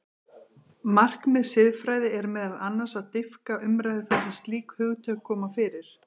Markmið siðfræði er meðal annars að dýpka umræðu þar sem slík hugtök koma fyrir.